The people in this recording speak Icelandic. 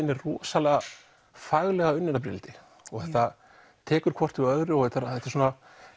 er rosalega faglega unnin af Brynhildi þetta tekur hvort við öðru og það er